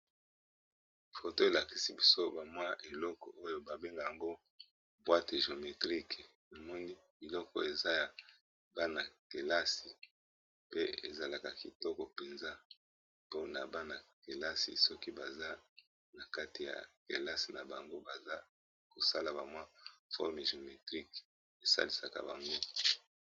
Foto ! elakisi biso bamwa , eloko oyo babenge yango, boîte géometrique namoni biloko eza ya, bana-kelasi pe ezalaka kitoko mpenza ! mpona bana kelasi , soki baza na kati ya kelasi, na bango baza kosala, ba mwa forme géometrique, esalisaka bango.